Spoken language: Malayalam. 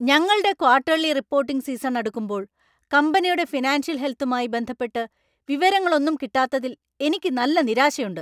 ഞങ്ങൾടെ ക്വർട്ടർലി റിപ്പോർട്ടിംഗ് സീസൺ അടുക്കുമ്പോൾ കമ്പനിയുടെ ഫിനാൻഷ്യൽ ഹെൽത്തുമായി ബന്ധപ്പെട്ട് വിവരങ്ങൾ ഒന്നും കിട്ടാത്തതിൽ എനിക്ക് നല്ല നിരാശയുണ്ട്.